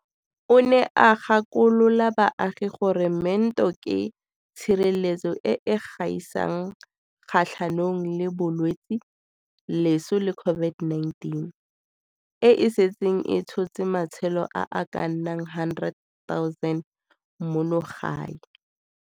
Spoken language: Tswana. O ne a gakolola baagi gore meento ke tshireletso e e gaisang kgatlhanong le bolwetse, loso le COVID-19, e e setseng e tshotse matshelo a a ka nnang 100 000 mono gae.